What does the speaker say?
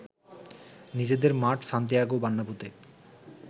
নিজেদের মাঠ সান্টিয়াগো বার্নাব্যুতে